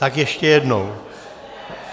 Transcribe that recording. Tak ještě jednou.